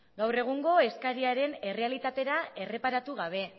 gaur egungo eskariaren errealitatera erreparatu gabe